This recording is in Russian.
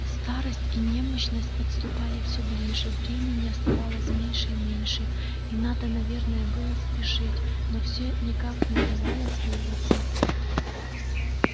старость и немощность подступали всё ближе времени оставалось меньше и меньше и надо наверное было спешить но всё никак не удавалось вырваться